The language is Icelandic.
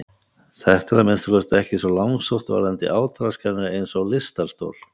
Þetta er að minnsta kosti ekki svo langsótt varðandi átraskanir eins og lystarstol.